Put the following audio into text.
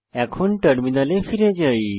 এখন টার্মিনালে ফিরে যাই